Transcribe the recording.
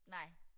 Nej